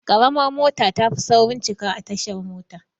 Ƙaramar mota tafi saurin cika a tashar mota